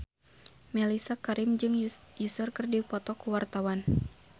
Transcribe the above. Mellisa Karim jeung Usher keur dipoto ku wartawan